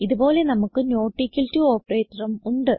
ഇത് പോലെ നമുക്ക് നോട്ട് ഇക്വൽ ടോ operatorഉം ഉണ്ട്